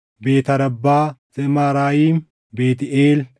Beet Arabbaa, Zemaaraayim, Beetʼeel,